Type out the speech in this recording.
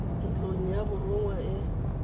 ntlong ya borongwa e e